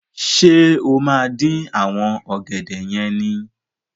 Ṣé o máa dín àwọn ọ̀gẹ̀dẹ̀ yẹn ni?